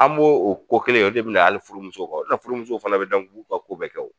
An b'o o ko kelen in kɛ o de be na hali furu musow kan. O de la furumusow fana be dɛn k'u ka ko bɛɛ kɛ.